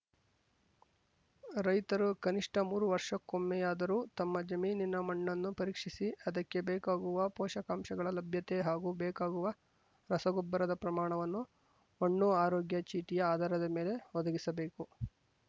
ರೈತರು ಕನಿಷ್ಠ ಮೂರು ವರ್ಷಕ್ಕೋಮ್ಮೇಯಾದರು ತಮ್ಮ ಜಮೀನಿನ ಮಣ್ಣನ್ನು ಪರೀಕ್ಷಿಸಿ ಅದಕ್ಕೇ ಬೇಕಾಗುವ ಪೋಷಕಾಂಷಗಳ ಲಭ್ಯತೆ ಹಾಗೂ ಬೇಕಾಗುವ ರಸಗೊಬ್ಬರದ ಪ್ರಮಾಣವನ್ನು ಮಣ್ಣು ಆರೋಗ್ಯ ಚೀಟಿಯ ಆಧಾರದ ಮೇಲೆ ಒದಗಿಸಬೇಕು